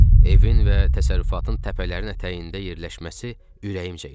Evin və təsərrüfatın təpələrin ətəyində yerləşməsi ürəyimcə idi.